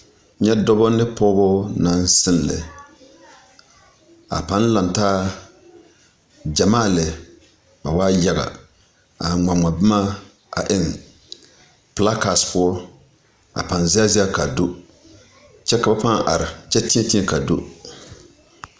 Nyɛ dɔba ne pɔgba naŋ siŋ lɛ, a paŋ laŋ taa gyamaa lɛ ba waa yage a gma gma boma a eng plakas poɔ a paŋ zɛge zɛge kaa do kyɛ ka paa are kyɛ têê têê kaa do.